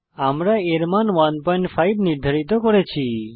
আমরা এর মান 15 নির্ধারিত করেছি